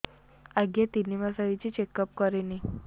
ଆଜ୍ଞା ତିନି ମାସ ହେଇଛି ଚେକ ଅପ କରିବି